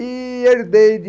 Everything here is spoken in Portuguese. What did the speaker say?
E herdei de...